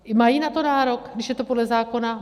Mají na to nárok, když je to podle zákona?